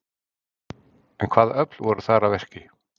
En hvaða öfl voru þar að verki?